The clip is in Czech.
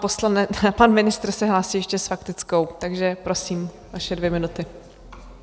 Pan ministr se hlásí ještě s faktickou, takže prosím, vaše dvě minuty.